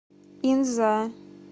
инза